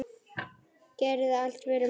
Gerðir allt fyrir mig.